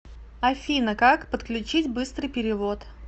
афина как подключить быстрый перевод